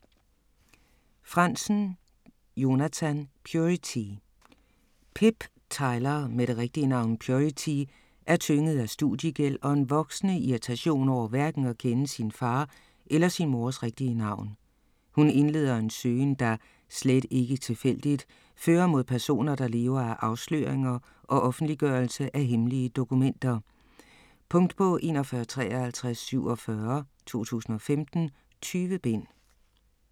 Franzen, Jonathan: Purity Pip Tyler med det rigtige navn Purity er tynget af studiegæld og en voksende irritation over hverken at kende sin far eller sin mors rigtige navn. Hun indleder en søgen der - slet ikke tilfældigt - fører mod personer der lever af afsløringer og offentliggørelse af hemmelige dokumenter. Punktbog 415347 2015. 20 bind.